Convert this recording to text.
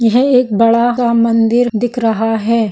यह एक बड़ा सा मंदिर दिख रहा है।